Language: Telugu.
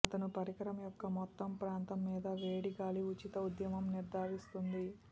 అతను పరికరం యొక్క మొత్తం ప్రాంతం మీద వేడి గాలి ఉచిత ఉద్యమం నిర్ధారిస్తుంది